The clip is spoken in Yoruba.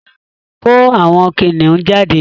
Ko àwon Kiniun jade